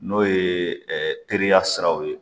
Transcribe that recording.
N'o ye teriya siraw ye